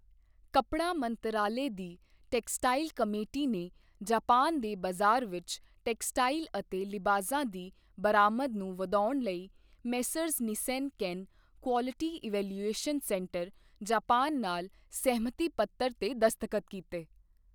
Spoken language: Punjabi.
ਕੱਪੜਾ ਮੰਤਰਾਲੇ ਦੀ ਟੈਕਸਟਾਈਲ ਕਮੇਟੀ ਨੇ ਜਾਪਾਨ ਦੇ ਬਾਜ਼ਾਰ ਵਿੱਚ ਟੈਕਸਟਾਈਲ ਅਤੇ ਲਿਬਾਸਾਂ ਦੀ ਬਰਾਮਦ ਨੂੰ ਵਧਾਉਣ ਲਈ Messrs Nissenken quality evaluation centre, Japan ਨਾਲ ਸਹਿਮਤੀ ਪੱਤਰ ਤੇ ਦਸਤਖਤ ਕੀਤੇ